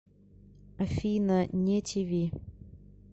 афина не ти ви